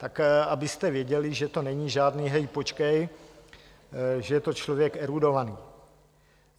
Tak abyste věděli, že to není žádný hej, počkej, že je to člověk erudovaný.